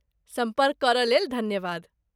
सम्पर्क करयलेल धन्यवाद।